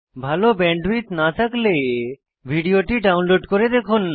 ভাল ব্যান্ডউইডথ না থাকলে ভিডিওটি ডাউনলোড করে দেখুন